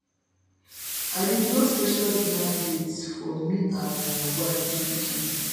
i dey plan special dinner date for me and my wife dis weekend